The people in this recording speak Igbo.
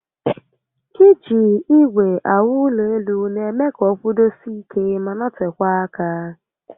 Iji igwe awu ulo elu n'eme ka o kwudosie ike ma notekwaa aka